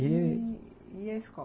E... e... a escola?